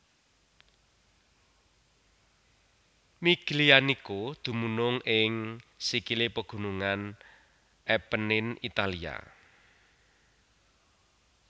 Miglianico dumunung ing sikilé pagunungan Appenine Italia